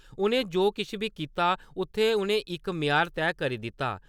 उ'नें जो किश बी कीता उत्थै उ'नें इक म्यार तैऽ करी दित्ता।